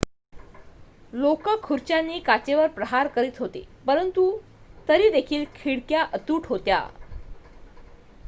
लोकं खुर्च्यांनी काचेवर प्रहार करत होते पंरतु तरीदेखील खिडक्या अतूट होत्या